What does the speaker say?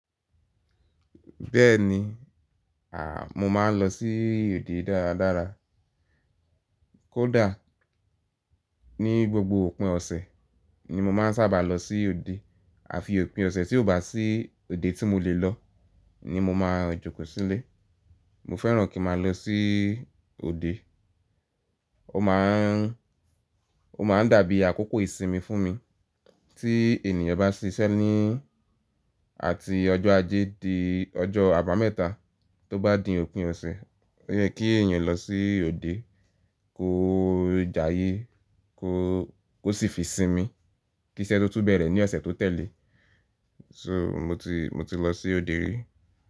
Bẹ́ẹ̀ ni, àh, mo máa ń lọ sí òde dára dára. Kódà ní gbogbo òpin ọ̀sẹ̀ ni mo máa ń sábà lọ sí òde, àfi òpin ọ̀sẹ̀ tí ò bá sí òde tí mo lè lọ ni mo máa jókòó sílé. Mo fẹ́ràn kí n ma lọ sí òde. Ó máa ń, ó máa ń dàbí àkókò ìsinmi fún mi. Tí ènìyàn bá ṣíṣẹ́ ní àti ọjọ́ ajé di ọjọ́ àbámẹ́ta tó bá di òpin ọ̀sẹ̀, ó yẹ kí èèyàn lọ sí òde kó jayé, kó, kó sì fi sinmi kí iṣẹ́ tó tún bẹ̀rẹ̀ ní ọ̀sẹ̀ tó tẹ̀lé. So mo ti, mo ti lọ sí òde rí.